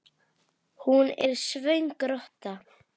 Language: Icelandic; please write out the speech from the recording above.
Hún er svöng rotta.